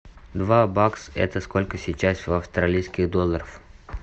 два бакс это сколько сейчас в австралийских долларах